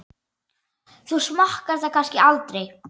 Þú smakkar það kannski aldrei?